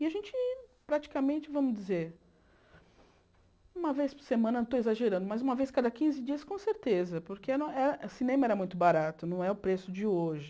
E a gente praticamente, vamos dizer, uma vez por semana, não estou exagerando, mas uma vez cada quinze dias com certeza, porque o cinema era muito barato, não é o preço de hoje.